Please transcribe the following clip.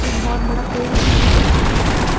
एक बहुत बड़ा पेड़ भी नजर आ रहा है।